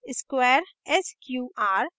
square sqr